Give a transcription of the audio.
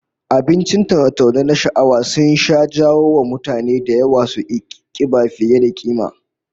Abincin taune-taune na sha'awa sun sha jawo wa mutane da yawa suki kiba fiye da kima